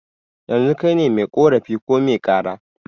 Yanzu kaine mai ƙorafi ko mai kara?